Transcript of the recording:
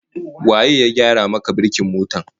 Waye ya gyara maka birkin motar ka?